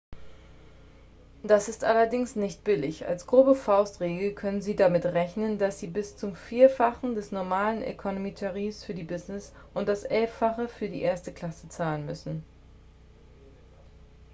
das ist allerdings nicht billig als grobe faustregel können sie damit rechnen dass sie bis zum vierfachen des normalen economy-tarifs für die business und das elffache für die erste klasse zahlen müssen